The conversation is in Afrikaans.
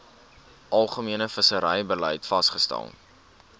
algemene visserybeleid vasgestel